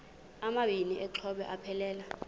amabini exhobe aphelela